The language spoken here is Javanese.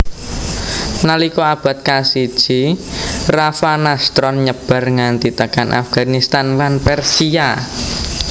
Nalika abad kasiji Ravanastron nyebar nganti tekan Afghanistan lan Persia